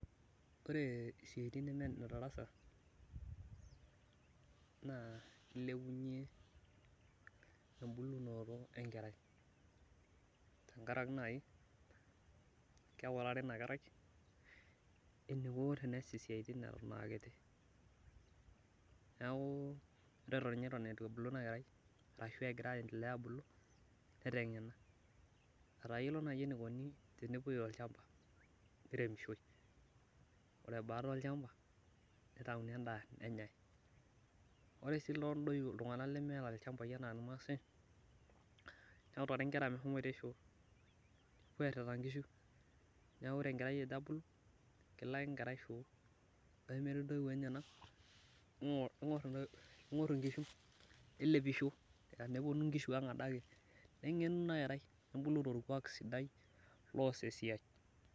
Ore siaitin neme nedarasa naa ilepunye embulunoto enkerai, tenkaraki naaji keutari ina kerai enikuna siaitin eton aa kiti. Neeku ore eton eitu ebulu ina kerai ashu etoin egira aendelea abulu netengena ,etayiolo naaji enikoni tenepoi olchampa niremisho. Ore baada olchampa nitayuni endaa nenyae. Ore sii iltunganak lemeeta ilchampai anaa irmaasai, neutari nkera meshomoito shoo nepuo airita nkishu. Neeku ore ejo enkerai abulu, kelo ake enkerai shoo. Ore metii ntoiwuo enyenak ,ningor nkishu nelepisho teneponu nkishu ang adake. Nengenu ina kerai nebulu torkuak sidai loos esiai.